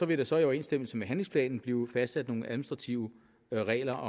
vil der så i overensstemmelse med handlingsplanen blive fastsat nogle administrative regler